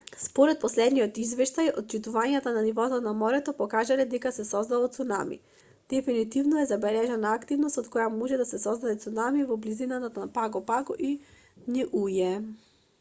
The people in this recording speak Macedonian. според последниот извештај отчитувањата на нивото на морето покажале дека се создало цунами дефинитивно е забележана активност од која може да се создаде цунами во близина на паго паго и ниује